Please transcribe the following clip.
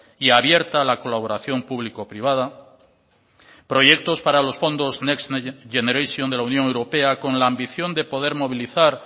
y abierta a la colaboración público privada proyectos para los fondos next generation de la unión europea con la ambición de poder movilizar